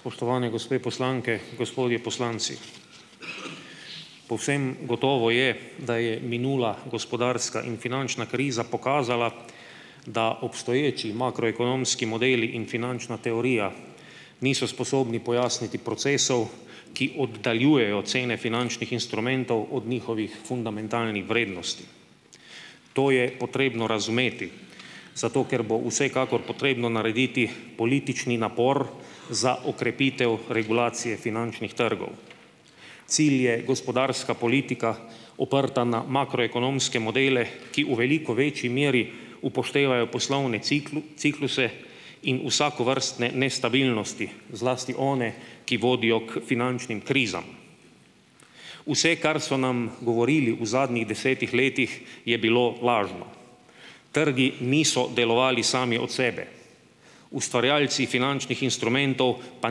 Spoštovani gospe poslanke, gospodje poslanci! Povsem gotovo je, da je minula gospodarska in finančna kriza pokazala, da obstoječi makroekonomski modeli in finančna teorija niso sposobni pojasniti procesov, ki oddaljujejo cene finančnih instrumentov od njihovih fundamentalnih vrednosti. To je potrebno razumeti, zato ker bo vsekakor potrebno narediti politični napor za okrepitev regulacije finančnih trgov. Cilj je gospodarska politika, oprta na makroekonomske modele, ki v veliko večji meri upoštevajo poslovne cikluse in vsakovrstne nestabilnosti, zlasti one, ki vodijo k finančnim krizam. Vse, kar so nam govorili v zadnjih desetih letih, je bilo lažno. Trgi niso delovali sami od sebe, ustvarjalci finančnih instrumentov pa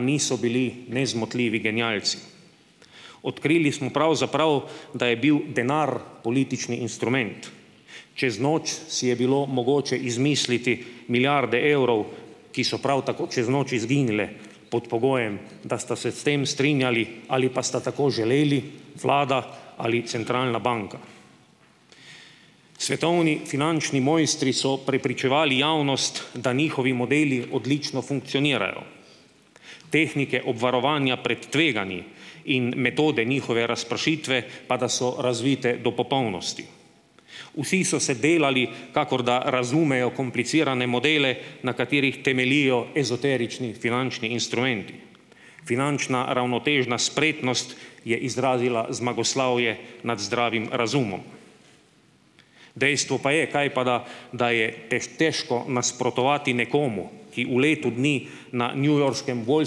niso bili nezmotljivi genialci. Odkrili smo pravzaprav, da je bil denar politični instrument, čez noč si je bilo mogoče izmisliti milijarde evrov, ki so prav tako čez noč izginile pod pogojem, da sta se s tem strinjali ali pa sta tako želeli Vlada ali centralna banka. Svetovni finančni mojstri so prepričevali javnost, da njihovi modeli odlično funkcionirajo, tehnike obvarovanja pred tveganji in metode njihove razpršitve pa, da so razvite do popolnosti. Vsi so se delali, kakor da razumejo komplicirane modele, na katerih temeljijo ezoterični finančni instrumenti. Finančna ravnotežna spretnost je izrazila zmagoslavje nad zdravim razumom. Dejstvo pa je, kajpada, da je težko nasprotovati nekomu, ki v letu dni na newyorškem Wall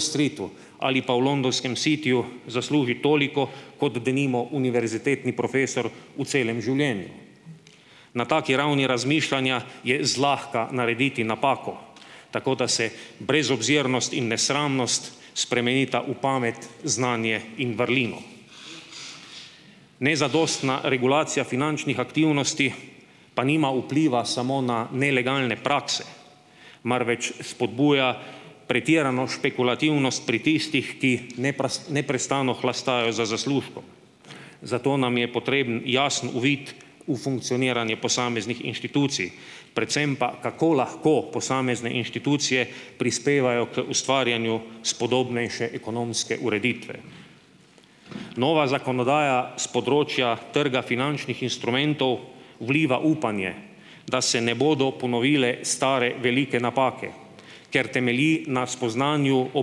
Streetu ali pa v londonskem Cityju zasluži toliko kot, denimo, univerzitetni profesor v celem življenju. Na taki ravni razmišljanja je zlahka narediti napako, tako da se brezobzirnost in nesramnost spremenita v pamet, znanje in vrlino. Nezadostna regulacija finančnih aktivnosti pa nima vpliva samo na nelegalne prakse, marveč spodbuja pretirano špekulativnost pri tistih, ki neprestano hlastajo za zaslužkom. Zato nam je potreben jasen uvid v funkcioniranje posameznih inštitucij, predvsem pa, kako lahko posamezne inštitucije prispevajo k ustvarjanju spodobnejše ekonomske ureditve. Nova zakonodaja s področja trga finančnih instrumentov vliva upanje, da se ne bodo ponovile stare velike napake, ker temelji na spoznanju o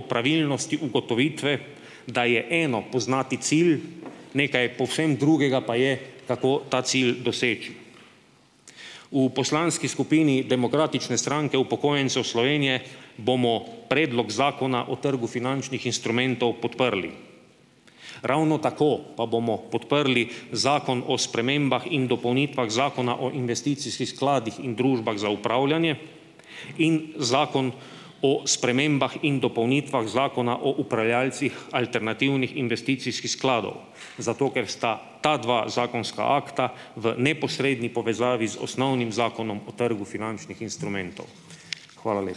pravilnosti ugotovitve, da je eno poznati cilj, nekaj povsem drugega pa je, kako ta cilj doseči. V poslanski skupini Demokratične stranke upokojencev Slovenije bomo Predlog zakona o trgu finančnih instrumentov podprli. Ravno tako pa bomo podprli Zakon o spremembah in dopolnitvah Zakona o investicijskih skladih in družbah za upravljanje in Zakon o spremembah in dopolnitvah Zakona o upravljalcih alternativnih investicijskih skladov, zato ker sta ta dva zakonska akta v neposredni povezavi z osnovnim Zakonom o trgu finančnih instrumentov. Hvala lepa.